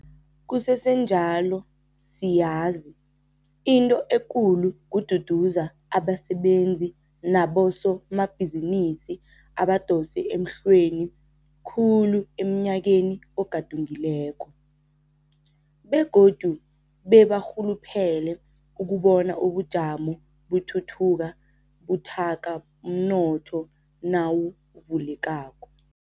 Kusesenjalo siyazi 'into ekulu' kududuza abasebenzi naboso mabhizinisi abadose emhlweni khulu emnyakeni ogadungileko, begodu bebarhuluphele ukubona ubujamo buthuthuka buthaka umnotho nawuvulekako.